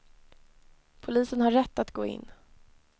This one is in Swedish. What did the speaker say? Polisen har rätt att gå in.